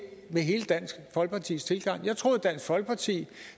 med hele dansk folkepartis tilgang jeg troede at dansk folkeparti